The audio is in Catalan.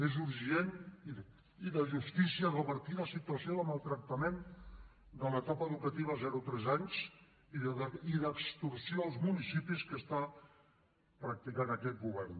és urgent i de justícia revertir la situació de maltractament de l’etapa educativa zero tres anys i d’extorsió als municipis que està practicant aquest govern